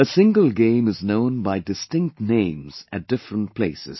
A single game is known by distinct names at different places